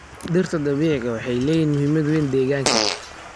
Dhirta dabiiciga ah waxay leeyihiin muhiimad weyn deegaanka.